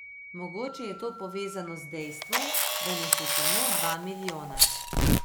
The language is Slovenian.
Mogoče je to povezano z dejstvom, da nas je samo dva milijona.